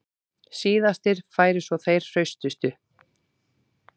Síðastir færu svo þeir hraustustu